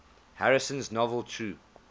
harrison's novel true